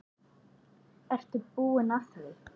Og ertu búin að því?